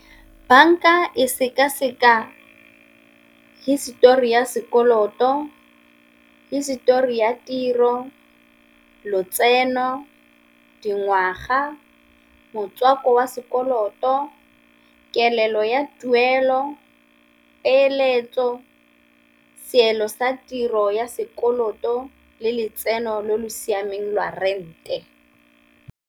Banka e seka-seka histori ya sekoloto, hisitori ya tiro, lotseno, dingwaga, motswako wa sekoloto, kelelo ya tuelo, peeletso, seelo sa tiro ya sekoloto, le letseno lo lo siameng lwa rent-e.